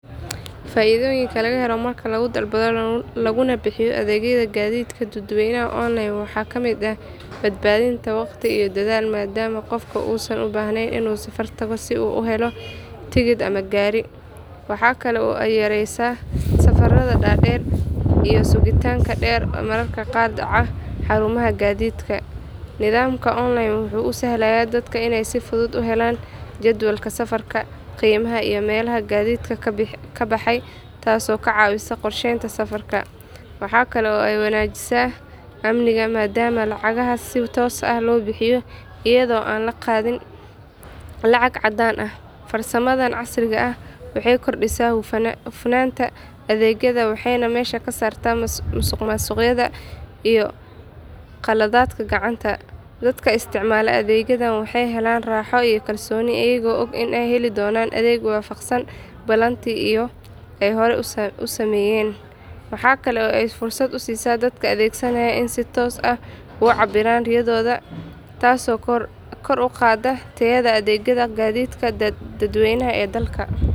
Faidhoyinka lagahelo marka lagudalbadho laguna bixiyo adhegyadha gadhidka dadweynaha online waxa kamid ahh, badbadhinta waqti i dadhal madama qofka usan ubahneyn si u uhelo tikid ama gari waxa kale oo ey yareysa safaradha dader iyoh sugitanka der mararka qar daca xarumaha gadhidka, nidhamka online wuxu usahlaya dadka iney si fudhud uhelan jadwalka safarka, qimaha iyo melaha gadhidka kabaxay tass oo kacawisa qorsheynta safarka, waxa kale oo eywanajisa amniga madama oo lacagaha si tos ahh lobixiyo ayadho ann laqadhin lacag cadan ahh, farsa, madhan casriga ahh waxey kordisaa hufnanta adhegyadha waxeyna mesha kasarta masuqmasuqyadha iyo qaldhadka gacanta, dadka isticmala adhegyadhan waxey helan raxoo iyo kalsoni ayago ogg iney heli donan adheg wafaqsan balanti eyy hori usaameyen, waxa kala ey fursad usisa dadka adhegsanaya iney si tos ahh ucabiran riyadhodha tas oo kor uqada tayadha adhegyadha gadhidka dadweynaha ee dalka.